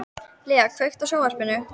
Lea, kveiktu á sjónvarpinu.